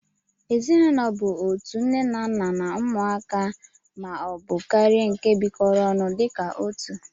Ezinụlọ bu otu nne ,nna na ụmụaka ma ọ bu karia nke bikọrọ ọnụ dika otụ